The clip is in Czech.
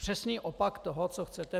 Přesný opak toho, co chcete.